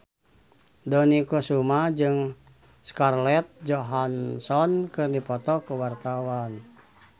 Dony Kesuma jeung Scarlett Johansson keur dipoto ku wartawan